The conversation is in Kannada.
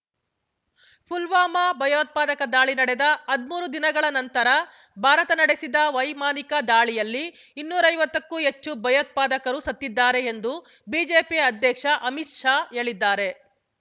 ಪುಲ್ವಾಮಾ ಭಯೋತ್ಪಾದಕ ದಾಳಿ ನಡೆದ ಹದಿಮೂರು ದಿನಗಳ ನಂತರ ಭಾರತ ನಡೆಸಿದ ವೈಮಾನಿಕ ದಾಳಿಯಲ್ಲಿ ಇನ್ನೂರೈವತ್ತಕ್ಕೂ ಹೆಚ್ಚು ಭಯೋತ್ಪಾದಕರು ಸತ್ತಿದ್ದಾರೆ ಎಂದು ಬಿಜೆಪಿ ಅಧ್ಯಕ್ಷ ಅಮಿತ್ ಶಾ ಹೇಳಿದ್ದಾರೆ